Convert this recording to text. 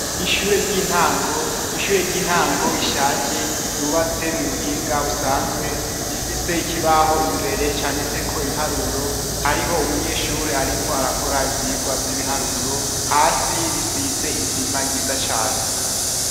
Ishure ry'intango rishaje, ryubatse mu buhinga busanzwe, rifise ikibaho imbere canditseko ibiharuro, hariho umunyeshuri ariko arakora ivyigwa vy'ibiharuro, hasi risize isima ryiza cane.